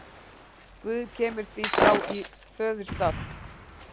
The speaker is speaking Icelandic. Guð kemur því þá í föðurstað.